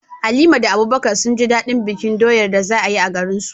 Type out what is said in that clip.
Halima da Abubakar sun ji daɗin bikin Sabuwar doyar da za a yi a garinsu.